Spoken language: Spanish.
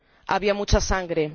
Había mucha sangre.